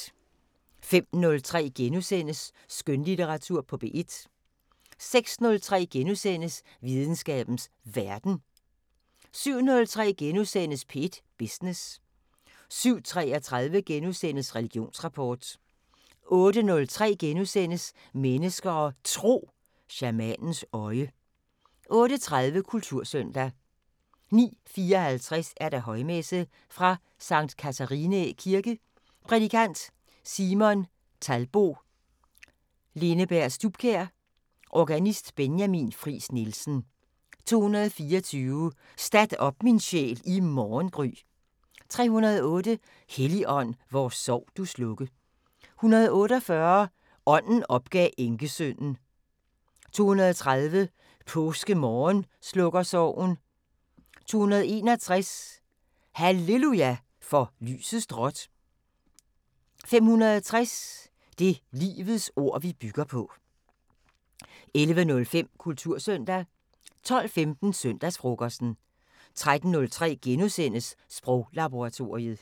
05:03: Skønlitteratur på P1 * 06:03: Videnskabens Verden * 07:03: P1 Business * 07:33: Religionsrapport * 08:03: Mennesker og Tro: Shamanens øje * 08:30: Kultursøndag 09:54: Højmesse - Fra Sct. Catharinæ Kirke. Prædikant: Simon Talbo Linneberg Stubkjær. Organist: Benjamin Friis Nielsen. 224: "Stat op, min sjæl, i morgengry". 308: "Helligånd, vor sorg du slukke". 148: "Ånden opgav enkesønnen". 230: "Påskemorgen slukker sorgen". 261: "halleluja, for lystes drot". 560: "Det livets ord vi bygger på". 11:05: Kultursøndag 12:15: Søndagsfrokosten 13:03: Sproglaboratoriet *